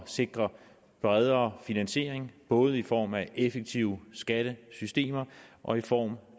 sikre bredere finansiering både i form af effektive skattesystemer og i form